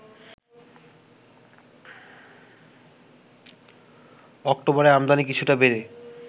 অক্টোবরে আমদানি কিছুটা বেড়ে